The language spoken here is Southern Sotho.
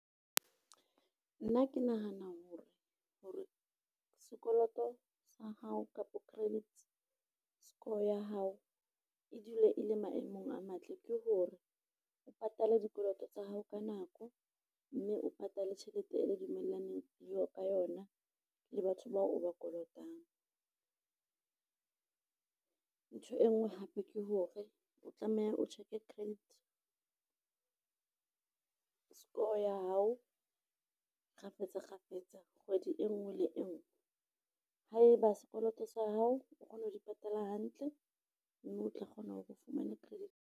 Nna ke nahana hore, sekoloto sa hao kapa credit score ya hao e dule e le maemong a matle, ke hore o patale dikoloto tsa hao ka nako mme o patale tjhelete eo le dumellaneng ka yona le batho bao o ba kolotang. Ntho e nngwe hape ke hore o tlameha o check-e credit, score ya hao kgafetsa kgafetsa kgwedi e nngwe le e nngwe. Haeba sekoloto sa hao o kgona ho di patala hantle, mme o tla kgona hore o fumane credit.